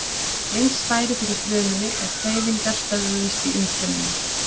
Eins færi fyrir frumunni ef hreyfingar stöðvuðust í umfryminu.